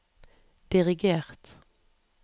dirigert